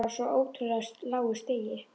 Hún er á svo ótrúlega lágu stigi.